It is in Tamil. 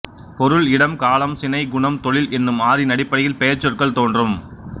பொருள் இடம் காலம் சினை குணம் தொழில் என்னும் ஆறின் அடிப்படையில் பெயர்ச்சொற்கள் தோன்றும்